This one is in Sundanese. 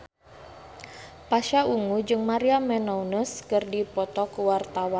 Pasha Ungu jeung Maria Menounos keur dipoto ku wartawan